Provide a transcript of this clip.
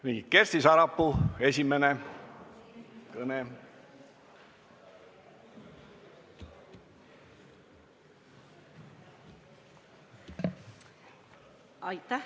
Esimene kõne, Kersti Sarapuu, palun!